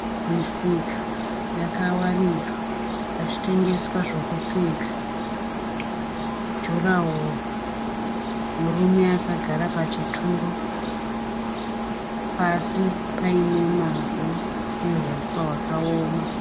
Misika yakawaridzwa pachitengeswa zvokupfeka. Jurahwo ,murume akagara pachituro. Pasi paine mavhu nehuswa hwakaoma.